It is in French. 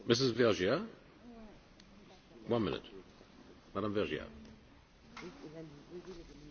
Monsieur le Président, jusqu'à l'intervention de notre collègue, Yannick Jadot, je trouvais que le débat était un peu surréaliste.